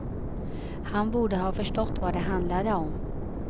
Han borde ha förstått vad det handlade om.